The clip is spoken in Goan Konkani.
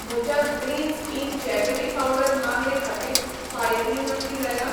म्हज्या ग्रीन्झ इन जॅगरी पावडर मागणे खातीर फारिकणी नक्की जाल्ल्या?